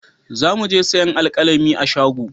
Za mu je sayan alkalami a shago